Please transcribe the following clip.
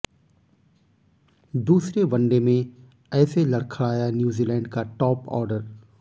दूसरे वनडे में ऐसे लड़खड़ाया न्यूजीलैंड का टॉप ऑर्डर